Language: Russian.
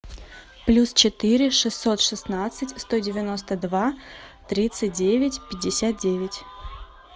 плюс четыре шестьсот шестнадцать сто девяносто два тридцать девять пятьдесят девять